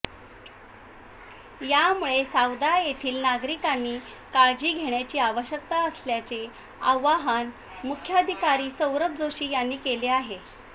यामुळे सावदा येथील नागरिकांनी काळजी घेण्याची आवश्यकता असल्याचे आवाहन मुख्याधिकारी सौरभ जोशी यांनी केले आहे